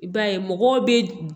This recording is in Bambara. I b'a ye mɔgɔw bɛ